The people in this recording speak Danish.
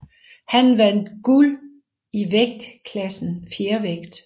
Han vandt guld i vægtklassen fjervægt